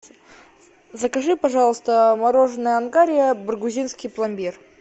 закажи пожалуйста мороженое ангария баргузинский пломбир